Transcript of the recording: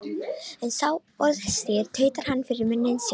En sá orðstír tautar hann fyrir munni sér.